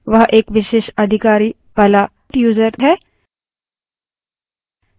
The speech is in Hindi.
वह एक विशेषाधिकारों वाला यूज़र है